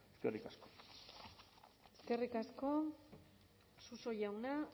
eskerrik asko eskerrik asko suso jauna